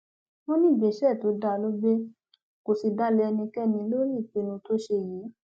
wọn ní ìgbésẹ tó dáa ló gbé kó sì dalẹ ẹnikẹni lórí ìpinnu tó ṣe yìí